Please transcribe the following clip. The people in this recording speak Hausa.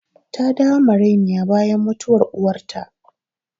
Ta dawo marainiya bayan mutuwar uwarta